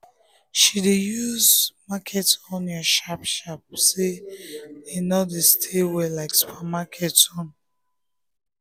she dey use market onion sharp-sharp say e no dey stay well like supermarket own.